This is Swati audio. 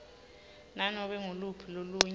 nanobe nguluphi lolunye